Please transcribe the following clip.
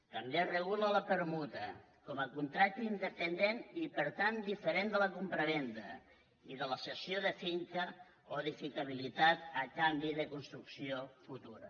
també es regula la permuta com a contracte independent i per tant diferent de la compravenda i de la cessió de finca o edificabilitat a canvi de construcció futura